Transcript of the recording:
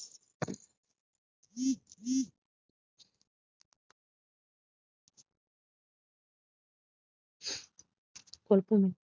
கொழுப்புமிக்~